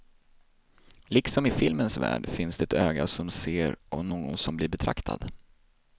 Liksom i filmens värld finns det ett öga som ser och någon som blir betraktad.